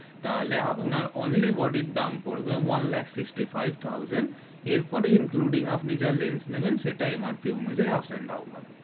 তা হলে আপনার only body দাম পরবে one lakh Sixty five thousand এর পরে including আপনি যা লেন্স নিবেন সেটা MRP অনুযায়ী ups and down হবে